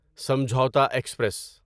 Samjhauta express